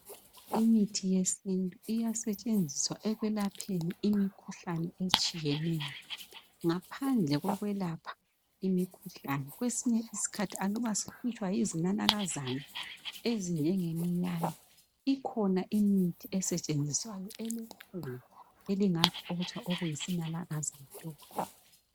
Imithi yesintu iyasetshenziswa ekwelapheni imikhuhlane etshiyeneyo. Ngaphandle kokwelapha imikhuhlane kwesinye isikhathi aluba sihlutshwa yizinanakazana, ezinjengeminyane ikhona imithi esetshenziswayo enkulu engaxotsha okuyisinanakazana lokhu.